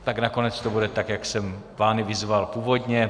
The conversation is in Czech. Tak nakonec to bude tak, jak jsem vás vyzval původně.